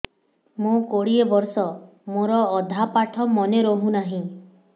ମୋ କୋଡ଼ିଏ ବର୍ଷ ମୋର ଅଧା ପାଠ ମନେ ରହୁନାହିଁ